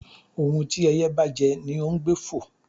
Ohún tí ẹyẹ́ bá jẹ́, ní ọ n gbé fọ́